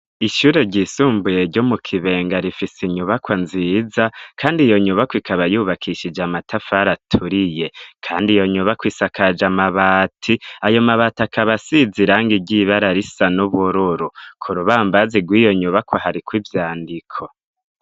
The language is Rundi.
Ishure ryisumbuye ryo mu Kibenga rifis' inyubakwa nziza kand' iyo nyubakw' ikaba yubakishije amatafar aturiye kandi iyo nyubakw' isakaj'amabati, ayo mabati akaba asiz'irangi iry'ibara risa n'ubururu ,ku rubambazi rw'iyo nyubakwa harikw' ivyandiko.